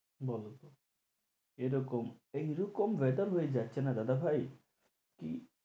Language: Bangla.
বলো তো এরকম এইরকম weather হয়ে যাচ্ছে না দাদা ভাই। কি